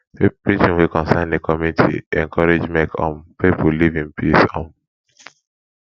preaching wey concern di community encourage make um pipo live in peace um